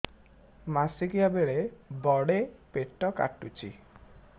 ମାସିକିଆ ବେଳେ ବଡେ ପେଟ କାଟୁଚି